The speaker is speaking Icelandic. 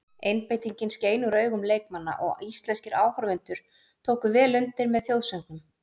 Einbeitingin skein úr augun leikmanna og íslenskir áhorfendur tóku vel undir með þjóðsöngnum.